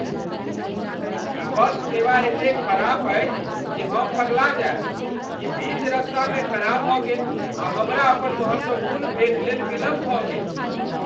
ई bus सेवा एतेक खराब अछि जे हम पगला जायब। ई बीच रस्तामे खराब भऽ गेल, आ हमरा अपन महत्वपूर्ण भेँट लेल विलम्ब भऽ गेल!